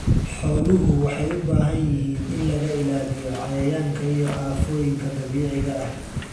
Xooluhu waxay u baahan yihiin in laga ilaaliyo cayayaanka iyo aafooyinka dabiiciga ah.